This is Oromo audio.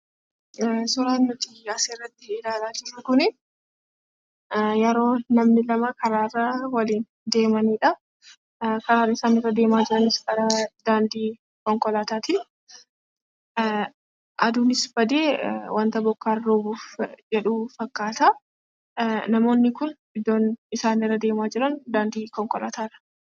Suuraan nuti asirratti ilaalaa jirru kunii yeroo namni kama karaa irra waliin deemanidha. Karaan isaan irra deemaa jiranis daandii konkolaataatii. Aduunis badee wanti bokkaan roobuuf jedhu fakkaata. Namoonni kun iddoon isaan irea deemaa jiran daandii konkolaataarra.